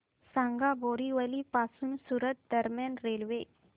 सांगा बोरिवली पासून सूरत दरम्यान रेल्वे